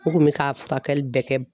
U kun bɛ ka furakɛli bɛɛ kɛ.